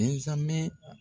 Ɛnzamɛ